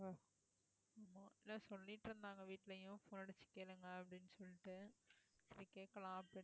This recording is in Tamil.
வீட்டிலேயும் phone அடிச்சு கேளுங்க அப்படின்னு சொல்லிட்டு சரி கேட்கலாம் அப்படின்னு